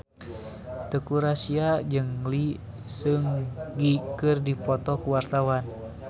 Teuku Rassya jeung Lee Seung Gi keur dipoto ku wartawan